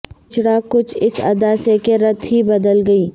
بچھڑا کچھ اس ادا سے کہ رت ہی بدل گئی